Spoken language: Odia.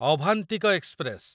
ଅଭାନ୍ତିକ ଏକ୍ସପ୍ରେସ